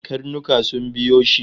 Karnuka sun biyo shi